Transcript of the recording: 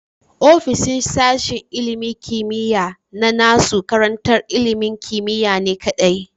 Ofishin sashen ilimin kimiya na nasu karantar ilimin kimiyane kadai